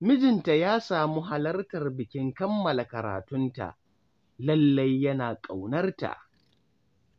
Mijinta ya samu halartar bikin kammala karatunta, lallai yana ƙaunarta